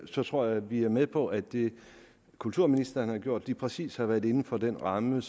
så tror jeg vi er med på at det kulturministeren har gjort præcis har været var inden for den ramme